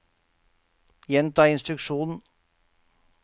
gjenta instruksjon